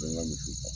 N ka misiw kan